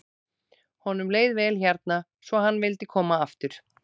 Honum leið vel hérna svo hann vildi koma aftur.